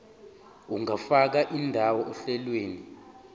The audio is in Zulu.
ungafaka indawo ohlelweni